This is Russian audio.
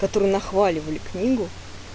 которые нахваливали книгу